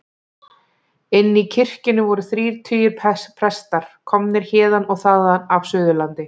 Inni í kirkjunni voru þrír tugir presta, komnir héðan og þaðan af Suðurlandi.